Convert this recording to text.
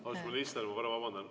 Austatud minister, ma korra vabandan.